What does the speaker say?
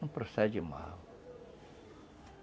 Não procede mal.